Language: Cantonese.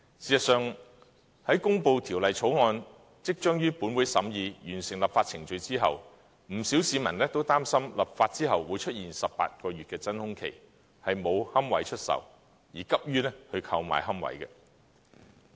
事實上，《私營骨灰安置所條例草案》即將於立法會審議，完成立法程序後，不少市民擔心立法後會出現18個月的真空期，沒有龕位出售，而急於購買龕位。